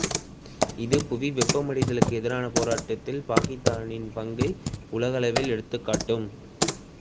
இது புவி வெப்பமடைதலுக்கு எதிரான போராட்டத்தில் பாக்கித்தானின் பங்கை உலகளவில் எடுத்துக்காட்டும்